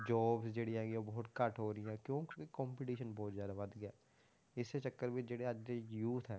Jobs ਜਿਹੜੀ ਹੈਗੀਆਂ ਬਹੁਤ ਘੱਟ ਹੋ ਰਹੀਆਂ ਕਿਉਂ ਕਿਉਂਕਿ competition ਬਹੁਤ ਜ਼ਿਆਦਾ ਵੱਧ ਗਿਆ, ਇਸੇ ਚੱਕਰ ਵਿੱਚ ਜਿਹੜੇ ਅੱਜ ਦੇ youth ਹੈ,